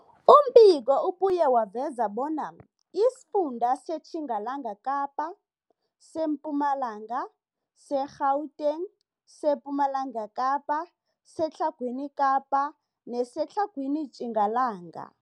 Umbiko ubuye waveza bona isifunda seTjingalanga Kapa, seMpumalanga, seGauteng, sePumalanga Kapa, seTlhagwini Kapa neseTlhagwini Tjingalanga.